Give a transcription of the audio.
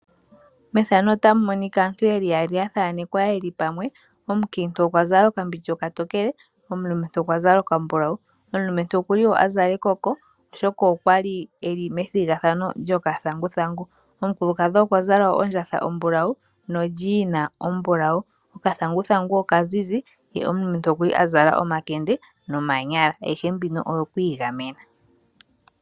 Mefano otamu monika aantu yeli yaali yeli pamwe. Omukiintu okwa zala okambindja okatokele. Omulumentu okwa zala okambulawu. Okuli wo a zala ekoko oshoka okwali methigathano lyokathanguthangu. Omukulukadhi okwa zala ondjatha ombulawu nolyiina ombulawu. Okathanguthangu oka zizi ye omulumentu okuli a zala omakende nomanyala. Ayihe mbino oyo ku igamena.